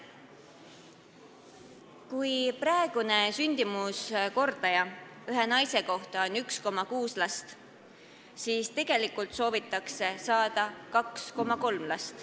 Kui praegu on sündimuskordaja ühe naise kohta 1,6, siis tegelikult soovitakse keskmiselt võttes saada 2,3 last.